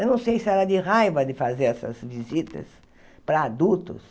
Eu não sei se era de raiva de fazer essas visitas para adultos,